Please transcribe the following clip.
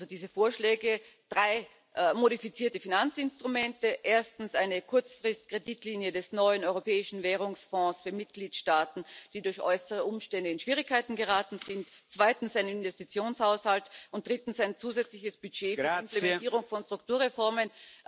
Diese Vorschläge sind drei modifizierte Finanzinstrumente erstens eine Kurzfristkreditlinie des neuen Europäischen Währungsfonds für Mitgliedstaaten, die durch äußere Umstände in Schwierigkeiten geraten sind, zweitens ein Investitionshaushalt und drittens ein zusätzliches Budget zur Implementierung von Strukturreformen.